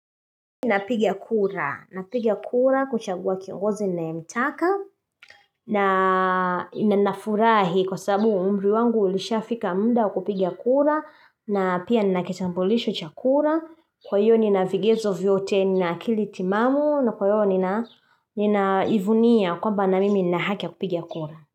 Napiga kura, napiga kura kuchagua kiongozi ninayemtaka na ninanafurahi kwa sababu umri wangu ulishafika muda kupiga kura na pia nina kitambulisho cha kura. Kwa hivyo nina vigezo vyote, nina akili timamu na kwa hivyo ninajivunia kwamba na mimi nina haki ya kupiga kura.